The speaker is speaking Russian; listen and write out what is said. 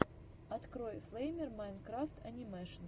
открой флэймер майнкрафт анимэшен